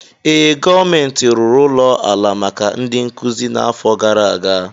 Ee, gọọmentị rụrụ ụlọ ala maka ndị nkuzi n'afọ gara aga.